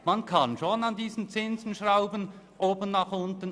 Man kann schon an diesen Zinsen schrauben, nach oben wie nach unten.